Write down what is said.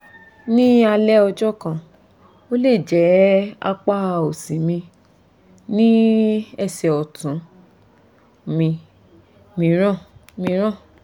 ní alẹ́ ọjọ́ kan ó lè jẹ́ apá òsì mi ní ẹsẹ̀ ọ̀tún mi mìíràn mìíràn